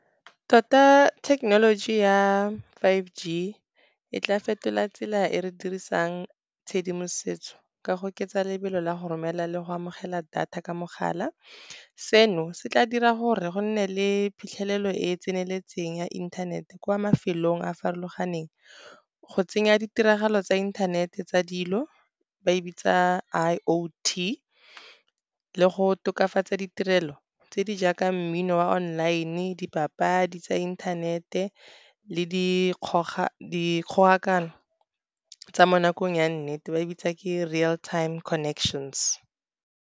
Tota thekenoloji ya five G, e tla fetola tsela e re dirisang tshedimosetso ka go oketsa lebelo la go romela le go amogela data ka mogala. Seno se tla dira gore go nne le phitlhelelo e e tseneletseng ya inthanete, kwa mafelong a farologaneng. Go tsenya ditiragalo tsa inthanete tsa dilo ba e bitsa I_O_T le go tokafatsa ditirelo tse di jaaka mmino wa online, dipapadi tsa inthanete le dikgogakano tsa mo nakong ya nnete ba e bitsa ke real time connections.